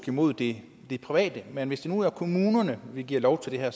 imod det private men hvis det nu er kommunerne vi giver lov til det her